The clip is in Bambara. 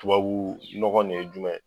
Tubabu nɔgɔ nin ye jumɛn ye